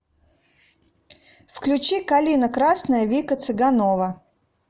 включи калина красная вика цыганова